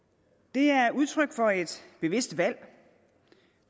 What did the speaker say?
det er udtryk for et bevidst valg